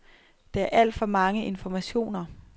Der er alt for mange informationer.